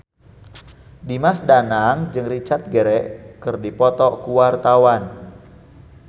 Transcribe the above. Dimas Danang jeung Richard Gere keur dipoto ku wartawan